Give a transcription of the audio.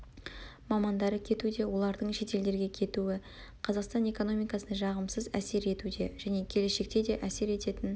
мамандары кетуде олардың шетелдерге кетуі қазақстан экономикасына жағымсыз әсер етуде және келешекте де әсер ететін